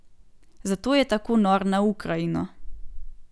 Zato je tako nor na Ukrajino.